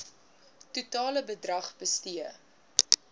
totale bedrag bestee